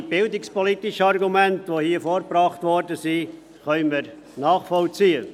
Auch die bildungspolitischen Argumente, die hier vorgebracht wurden, können wir nachvollziehen.